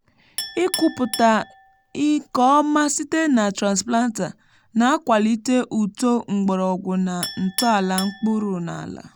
ịkụpụta nke ọma site na transplanter na-akwalite uto mgbọrọgwụ na ntọala mkpụrụ n’ala.